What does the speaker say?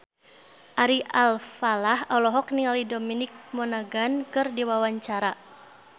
Ari Alfalah olohok ningali Dominic Monaghan keur diwawancara